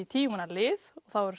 tíu manna lið